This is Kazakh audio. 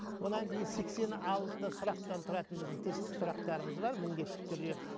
онан кейін сексен алты сұрақтан тұратын біздің тестік сұрақтарымыз бар міндетті түрде